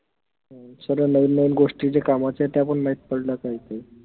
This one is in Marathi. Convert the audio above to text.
हम्म सर्व नवीन नवीन गोष्टी जे कामाच्या आहेत त्या पन माहित पडल्या काही काही